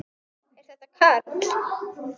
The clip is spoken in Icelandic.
Er þetta Karl?